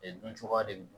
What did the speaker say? E dun cogoya de don